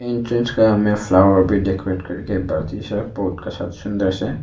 Entrance का में flower भी डेकोरेट करके बहुत का सा सुंदर से।